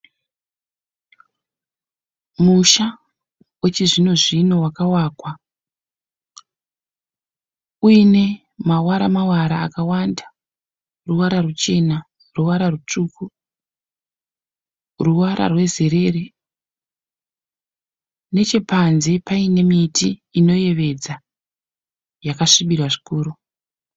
Musha wechizvinozvino wakawakwa uyine mawara mawara akawanda. Ruvara ruchena, ruvara rutsvuku, ruvara rwezerere nechepanze paine miti inoyevedza yakasvibira zvikuru.